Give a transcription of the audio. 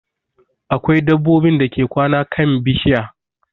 Akwai dabbobin dake kwana kan bishiya